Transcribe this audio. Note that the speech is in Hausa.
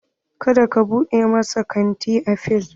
Ka da ka buɗe masa akantin fesbuk!